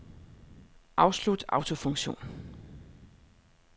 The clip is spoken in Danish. Afslut autofunktion.